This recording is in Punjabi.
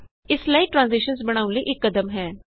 ਇਹ ਸਲਾਇਡ ਟਰਾਂਜੀਸ਼ਨਸ ਬਣਾਉਣ ਲਈ ਇਕ ਕਦਮ ਹੈ